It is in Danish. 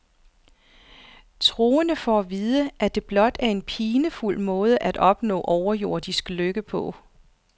Troende får at vide, at det blot er en pinefuld måde at opnå overjordisk lykke på.